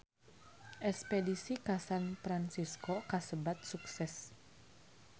Espedisi ka San Fransisco kasebat sukses